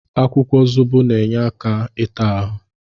Akwụkwọ zobo na-enye aka ịta ahụ.